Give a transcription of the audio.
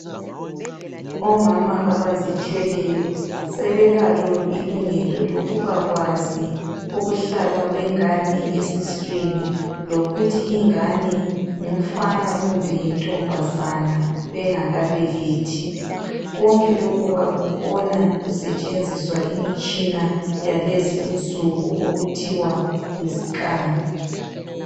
Omama abazithweleyo sebelalo ilungelo lokubakwazi ukuhlala kwengane esiswini. Lokuthi ingane ngumfana kumbe yintombazana bengakabelethi. Konke lokhu bakubona kusetshenziswa imitshina yalezi insuku okuthiwa yi scan.